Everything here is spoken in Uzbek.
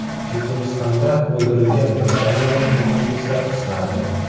Chechenistonda o‘ldirilgan britaniyalik muhandislar qismati.